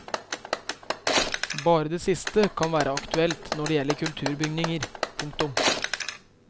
Bare det siste kan være aktuelt når det gjelder kulturbygninger. punktum